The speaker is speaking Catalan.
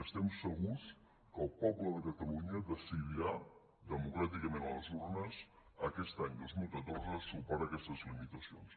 i estem segurs que el poble de catalunya decidirà democràticament a les urnes aquest any dos mil catorze superar aquestes limitacions